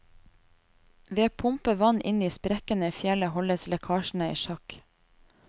Ved å pumpe vann inn i sprekkene i fjellet holdes lekkasjene i sjakk.